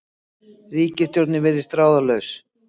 Ríkisstjórnin virðist ráðalaus